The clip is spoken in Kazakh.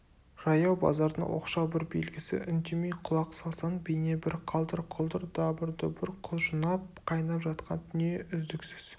жаяу базардың оқшау бір белгісі үндемей құлақ салсаң бейнебір қалдыр-құлдыр дабыр-дұбыр құжынап қайнап жатқан дүние үздіксіз